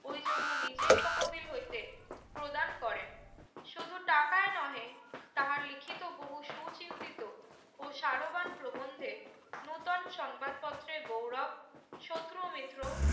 ওই জন্য নির্তের তহবিল হইতে প্রদান করে শুধু টাকয় নহে তাঁহা লিখিতো বহু শুচিন্তিত ও সারবান প্রভন্ধে নতুন সংবাদ পত্রের গৌরব শত্রু মিত্র